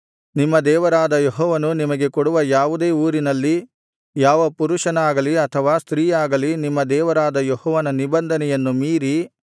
ನಿಮ್ಮ ದೇವರಾದ ಯೆಹೋವನು ನಿಮಗೆ ಕೊಡುವ ಯಾವುದೇ ಊರಿನಲ್ಲಿ ಯಾವ ಪುರುಷನಾಗಲಿ ಅಥವಾ ಸ್ತ್ರೀಯಾಗಲಿ ನಿಮ್ಮ ದೇವರಾದ ಯೆಹೋವನ ನಿಬಂಧನೆಯನ್ನು ಮೀರಿ